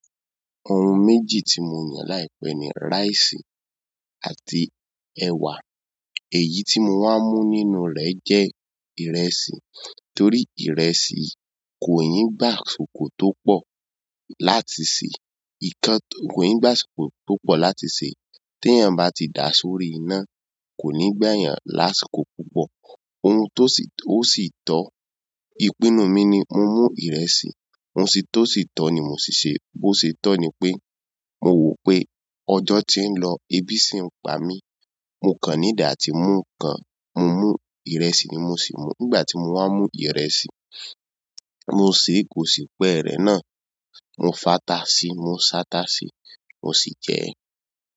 Ohun méjì tí mo yàn láìpẹ́ ni rice àti ẹwà. Èyí tí mo máa ń mú nínú rẹ̀ jẹ́ ìrẹsì torí ìrẹsì kò i gbá àsìkò tó pọ̀ láti ṣe. Í kan kò ì gbá àsìkò tó pọ̀ láti ṣe. Tí èèyàn bá ti da sórí iná, kò ní gba yàn lásìkò púpọ̀. Ohun tó sì, ó sì tọ́. Ìpinnu mi ni mo mú ìrẹsì. Ohun sì tọ́ si to ni mo siṣe. Bo ṣe tọ́ ni pé mo wò pé ọjọ́ tí ń lọ, ebi sì ń pa mí. Mo kàn need atí mú ǹkan, mo mú ìrẹsì ni mo sì mú. Nígbà tí mo wá mú ìrẹsì, mo sì kò sì pẹ́rẹ́ náà. Mo fi ata si, mo se ata si mo si je.